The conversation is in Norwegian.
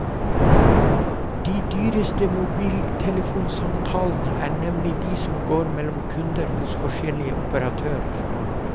De dyreste mobiltelefonsamtalene er nemlig de som går mellom kunder hos forskjellige operatører.